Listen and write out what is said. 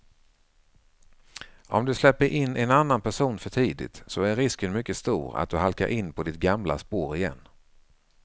Om du släpper in en annan person för tidigt så är risken mycket stor för att du halkar in på ditt gamla spår igen.